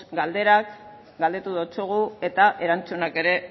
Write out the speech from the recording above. galderak galdetu dizugu eta erantzunak ere